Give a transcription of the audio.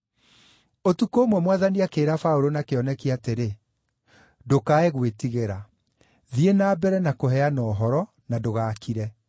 Ũtukũ ũmwe Mwathani akĩĩra Paũlũ na kĩoneki atĩrĩ, “Ndũkae gwĩtigĩra; thiĩ na mbere na kũheana ũhoro, na ndũgaakire.